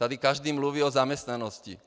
Tady každý mluví o zaměstnanosti.